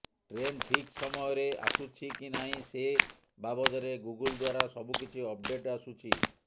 train ଠିକ୍ ସମୟରେ ଆସୁଛି କି ନାହିଁ ସେ ବାବଦରେ ଗୁଗୁଲ ଦ୍ୱାରା ସବୁକିଛି ଅପଡେଟ୍ ଆସୁଛି